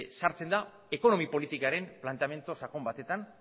sartzen da ekonomia politikaren planteamendu sakon batean